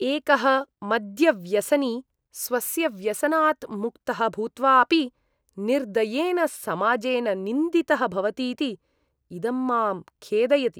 एकः मद्यव्यसनी स्वस्य व्यसनात् मुक्तः भूत्वा अपि निर्दयेन समाजेन निन्दितः भवतीति इदं मां खेदयति।